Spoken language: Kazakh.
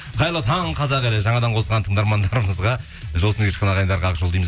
қайырлы таң қазақ елі жаңадан қосылған тыңдармандарымызға жол үстінде ағайындарға ақ жол дейміз